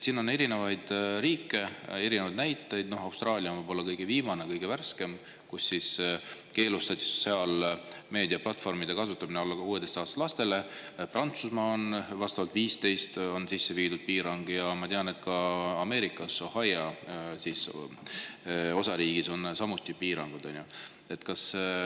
On erinevaid riike ja näiteid: võib-olla kõige viimane, kõige värskem on Austraalia, kus keelustati sotsiaalmeedia platvormide kasutamine alla 16-aastastel lastel, Prantsusmaal on piirang kehtestatud 15-aastastele ja ma tean, et Ameerikas Ohio osariigis on samuti piirangud.